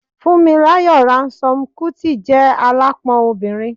Funmilayo Ransome-Kuti je alapon obinrin